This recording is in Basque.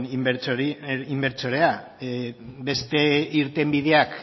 inbertsorea beste irtenbideak